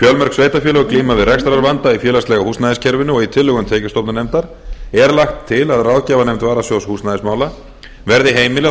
fjölmörg sveitarfélög glíma við rekstrarvanda í félagslega húsnæðiskerfinu og í tillögum tekjustofnanefndar er lagt til að ráðgjafarnefnd varasjóðs húsnæðismála verði heimilað að